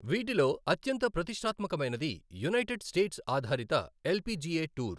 వీటిలో అత్యంత ప్రతిష్టాత్మకమైనది యునైటెడ్ స్టేట్స్ ఆధారిత ఎల్పిజిఎ టూర్.